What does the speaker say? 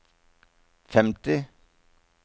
femti